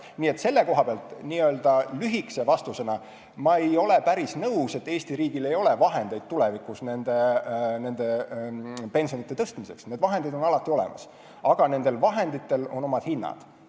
Nii et selle koha pealt ma ei ole päris nõus, et Eesti riigil ei ole vahendeid tulevikus pensioni tõstmiseks, need vahendid on alati olemas, aga nendel on oma hind.